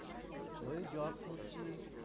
ঐ job করছি।